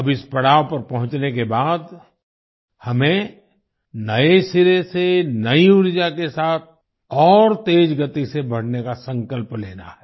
अब इस पड़ाव पर पहुँचने के बाद हमें नए सिरे से नई ऊर्जा के साथ और तेजगति से बढ़ने का संकल्प लेना है